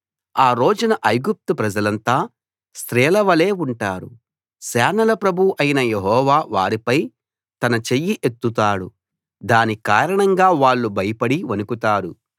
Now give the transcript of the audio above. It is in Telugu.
ఆ రోజున ఐగుప్తు ప్రజలంతా స్త్రీల వలే ఉంటారు సేనల ప్రభువు అయిన యెహోవా వారిపై తన చెయ్యి ఎత్తుతాడు దాని కారణంగా వాళ్ళు భయపడి వణుకుతారు